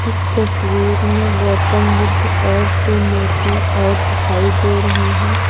इस तस्वीर में गौतम बुद्ध और दो मूर्तियां और दिखाई दे रही हैं।